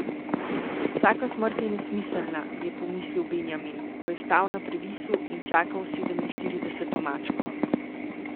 Vsaka smrt je nesmiselna, je pomislil Benjamin, ko je stal na previsu in čakal sedeminštirideseto mačko.